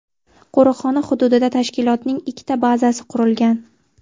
Qo‘riqxona hududida tashkilotning ikkita bazasi qurilgan.